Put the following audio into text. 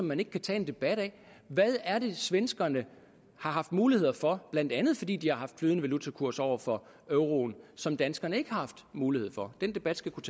man ikke kan tage en debat af hvad det er svenskerne har haft mulighed for blandt andet fordi de har haft flydende valutakurs over for euroen som danskerne ikke har haft mulighed for den debat skal kunne